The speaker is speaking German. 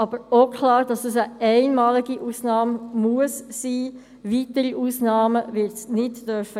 Allerdings muss es wirklich eine einmalige Ausnahme sein, es darf keine weiteren Ausnahmen geben.